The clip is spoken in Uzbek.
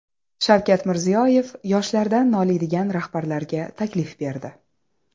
Shavkat Mirziyoyev yoshlardan noliydigan rahbarlarga taklif berdi.